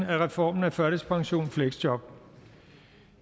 af reformen af førtidspension og fleksjob